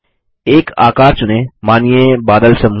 एक आकार चुनें मानिए बादल समूह